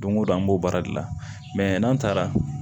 Don go don an b'o baara de la n'an taara